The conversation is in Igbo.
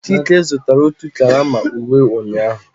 Chike zụtara otu karama uwe ụnyahụ